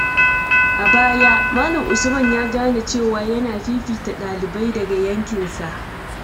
A baya, Malam Usman ya gane cewa yana fifita ɗalibai daga yankinsa.